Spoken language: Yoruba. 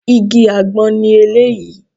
Igi àgbọn ni eléyìí